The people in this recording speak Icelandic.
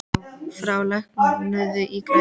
Frár, lækkaðu í græjunum.